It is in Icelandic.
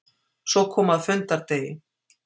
Svo kom að fundardegi.